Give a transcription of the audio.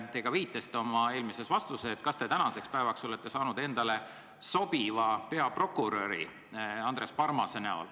Te viitasite oma eelmises vastuses peaprokurör Andres Parmasele.